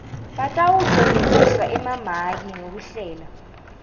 batawuklonyeliswa emamaki ngekuhlela